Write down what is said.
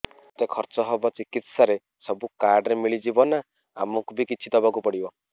ଯେତେ ଖର୍ଚ ହେବ ଚିକିତ୍ସା ରେ ସବୁ କାର୍ଡ ରେ ମିଳିଯିବ ନା ଆମକୁ ବି କିଛି ଦବାକୁ ପଡିବ